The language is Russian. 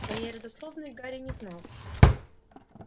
своей родословной гарри не знал